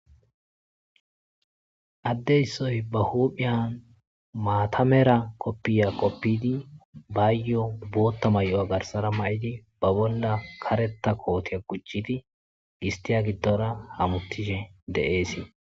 addeyssoy ba huuphiyan maatamera koppiya qoppidi baayyo bootta may7oa garsara mayidi ba bolla kareta kootiya kuccidi gistiya giddora hamutishe de7eesii